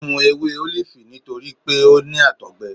O mu ewe olifi nitori pe o ni àtọgbẹ.